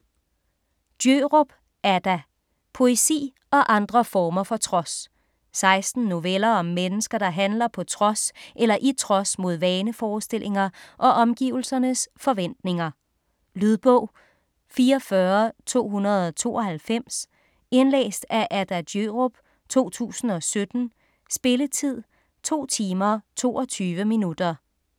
Djørup, Adda: Poesi og andre former for trods 16 noveller om mennesker, der handler på trods eller i trods mod vaneforestillinger og omgivelsernes forventninger. Lydbog 44292 Indlæst af Adda Djørup, 2017. Spilletid: 2 timer, 22 minutter.